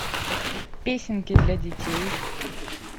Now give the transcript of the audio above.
песенки для детей